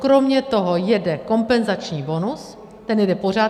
Kromě toho jede kompenzační bonus, ten jede pořád.